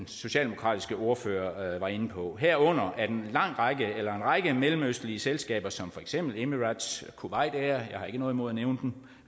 socialdemokratiske ordfører var inde på herunder at en række mellemøstlige selskaber som for eksempel emirates og kuwait noget imod at nævne dem